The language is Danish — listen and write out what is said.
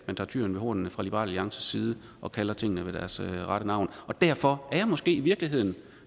man tager tyren ved hornene fra liberal alliances side og kalder tingene ved deres rette navn derfor er jeg måske i virkeligheden